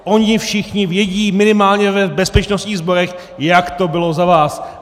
Oni všichni vědí, minimálně v bezpečnostních sborech, jak to bylo za vás.